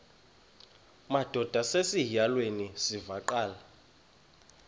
madod asesihialweni sivaqal